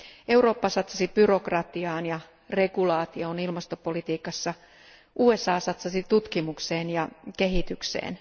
Eurooppa satsasi byrokratiaan ja regulaatioon ilmastopolitiikassa, USA satsasi tutkimukseen ja kehitykseen.